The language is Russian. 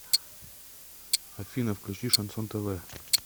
афина включи шансон тв